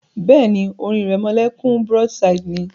Bẹ́ẹ̀ni, orin ìrẹmọlẹ́kún broadside ni